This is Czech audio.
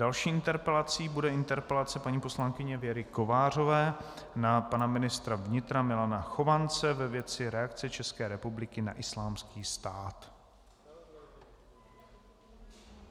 Další interpelací bude interpelace paní poslankyně Věry Kovářové na pana ministra vnitra Milana Chovance ve věci reakce České republiky na Islámský stát.